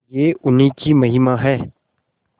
यह उन्हीं की महिमा है